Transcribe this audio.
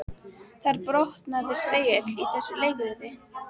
Þar brotnaði spegill í þessu leikriti